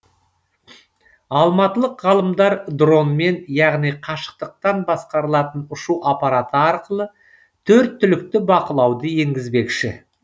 алматылық ғалымдар дронмен яғни қашықтықтан басқарылатын ұшу апараты арқылы төрт түлікті бақылауды енгізбекші